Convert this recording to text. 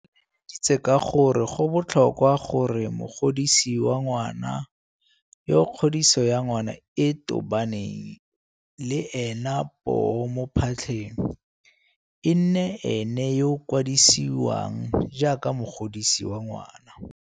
O tlaleleditse ka gore go botlhokwa gore mogodisi wa ngwana, yo kgodiso ya ngwana e tobaneng le ena poo mo phatlheng, e nne ene yo a kwadisiwang jaaka mogodisi wa ngwana.